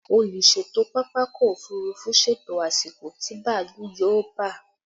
Olùṣètò pápákọ̀ òfurufú ṣètò àsìkò tí bàálù yóò ba